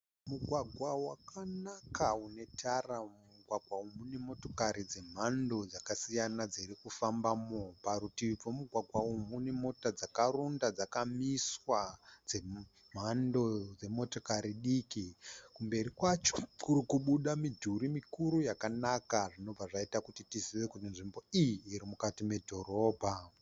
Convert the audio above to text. Mugwagwaga wakanaka une tara. Mugwagwa umu mune motokari dze mhando dzakasiyana dzirikufambamo. Parutivi pemugwagwa umu mune mota dzakaronda dzakamiswa dzemhando dzemotikari diki. Kumberi kwacho kurikubuda midhuri mikuru yakanaka. Zvinobva zvaita kuti tizive kuti nzvimbo iyi iri mukati medhorobha.